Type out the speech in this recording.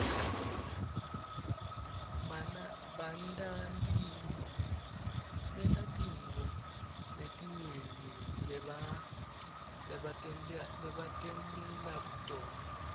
bantatintfo letinyenti lebatentela tona